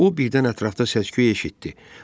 O birdən ətrafda səs-küy eşitdi.